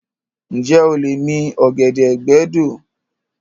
Ǹjẹ́ o lè mi igi ọ̀gẹ̀dẹ̀ gbẹ́ odó?